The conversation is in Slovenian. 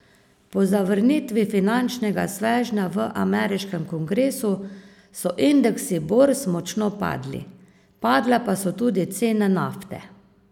Po zavrnitvi finančnega svežnja v ameriškem kongresu so indeksi borz močno padli, padle pa so tudi cene nafte.